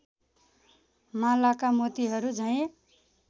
Malacca मोतिहरू झैं